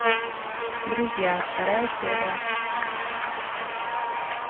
друзья вторая серия